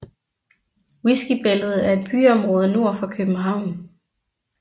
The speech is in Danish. Whiskybæltet er et byområde nord for København